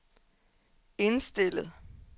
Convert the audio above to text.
indstillet